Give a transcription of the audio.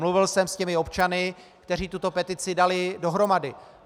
Mluvil jsem s těmi občany, kteří tuto petici dali dohromady.